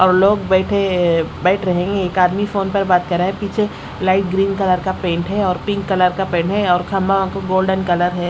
अब लोग बैठे है बैठ रहे है एक आदमी फोन पर बात कर रहा है पीछे लाइट ग्रीन कलर का पेंट है और पिंक कलर का पेंट है और खंभा में गोल्डन कलर है।